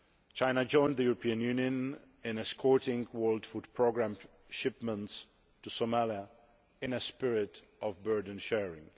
China joined the European Union in escorting World Food Programme shipments to Somalia in a spirit of burden sharing.